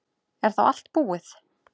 Er þá allt búið?